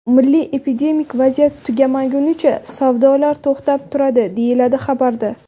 Milliy epidemik vaziyat tugamagunicha savdolar to‘xtab turadi”, deyiladi xabarda.